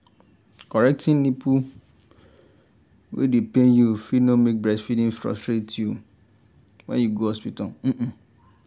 correcting nipple wey dey pain you fit no make breastfeeding frustrate you when you go hospital um um